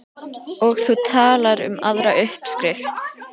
Og þú talar um aðra uppskrift.